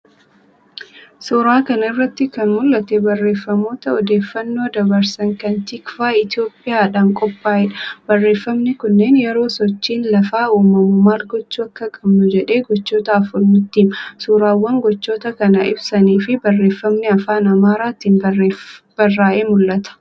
Suuraa kana irratti kan mul'atu barreeffamoota odeeffannoo dabarsan kan 'TIKVAH ETHIOPIA'dhaan qophaa'eedha. Barreeffamni kunneen yeroo sochiin lafaa uumamu maal gochuu akka qabnu jedhee gochoota afur nutti hima. Suuraawwan gochoota kana ibsaniifi barreeffamni afaan Amaaraatiin barraa'ee mul'ata.